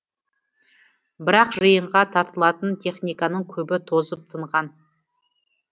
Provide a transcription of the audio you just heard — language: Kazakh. бірақ жиынға тартылатын техниканың көбі тозып тынған